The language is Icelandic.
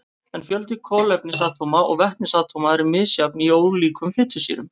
En fjöldi kolefnisatóma og vetnisatóma er misjafn í ólíkum fitusýrum.